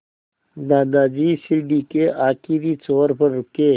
दादाजी सीढ़ी के आखिरी छोर पर रुके